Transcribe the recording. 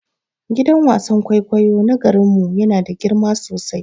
Gidan wasan kwaikwayo na garin mu yana da girma sosai.